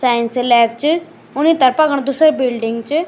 Science lab च ऊनि तरफ़ा कण दूसरी बिल्डिंग च।